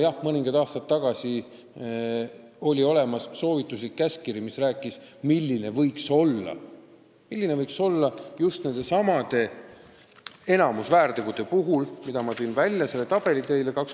Jah, mõned aastad tagasi oli olemas soovituslik käskkiri, mis rääkis, milline võiks olla õiguspraktika nendesamade väärtegude puhul, mis ma välja tõin.